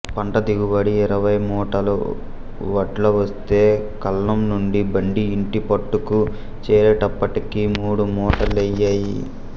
పంట దిగుబడి ఇరవైమూటల వడ్లు వస్తే కళ్లంనుండి బండి ఇంటిపట్టుకు చేరేటప్పటికి మూడు మూట లైయ్యాయి